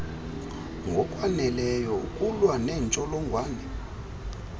ngokwaneleyo ukulwa neentsholongwane